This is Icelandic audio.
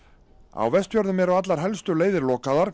á Vestfjörðum eru allar helstu leiðir lokaðar